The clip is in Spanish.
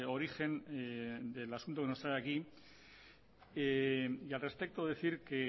origen del asunto que nos trae aquí y al respecto decir que